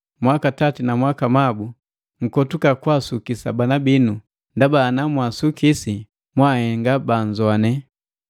Mwakatati na mwakamabu, nkotuka kwaasukisa bana binu, ndaba ana mwaasukisi mwaahenga bannzoane.